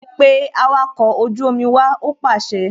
Pe awakọ̀ ojú omi wá! Ó pàṣẹ